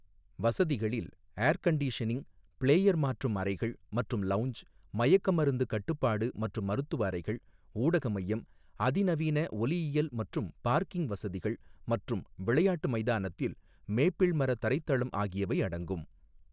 வசதிகளில் air conditioning, player மாற்றும் அறைகள் மற்றும் லவுஞ்ச், மயக்கமருந்து கட்டுப்பாடு மற்றும் மருத்துவ அறைகள், ஊடக மையம், அதிநவீன ஒலியியல் மற்றும் பார்க்கிங் வசதிகள் மற்றும் விளையாட்டு மைதானத்தில் மேப்பிள் மர தரைத்தளம் ஆகியவை அடங்கும்.